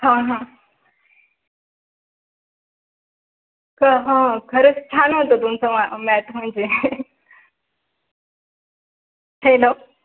अह खरच छान होता. तुम चं math म्हणजे हेलो.